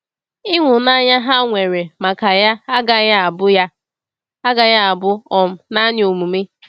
Ịhụnanya ha nwere maka ya agaghị abụ ya agaghị abụ um naanị omume.